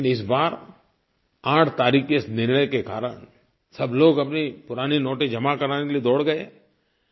लेकिन इस बार 8 तारीख़ के इस निर्णय के कारण सब लोग अपने पुराने नोटें जमा कराने के लिए दौड़ गए